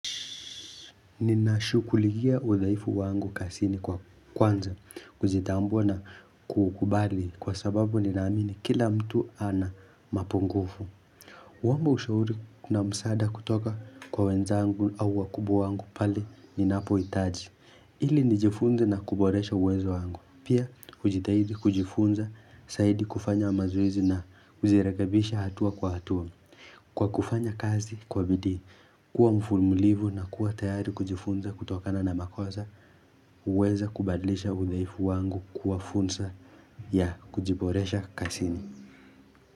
Ninashughulikia udhaifu wangu kazini kwa kwanza kujitambua na kukubali kwa sababu ninaamini kila mtu ana mapungufu kuomba ushauri na msaada kutoka kwa wenzangu au wakubwa wangu pale ninapohitaji ili nijifunza na kuboresha uwezo wangu pia kujitahidi kujifunza zaidi kufanya mazoezi na kujirekebisha hatua kwa hatua Kwa kufanya kazi kwa bidii, kuwa mvumilivu na kuwa tayari kujifunza kutokana na makosa huweza kubaadilisha udhaifu wangu kwa funza ya kujiboresha kazini.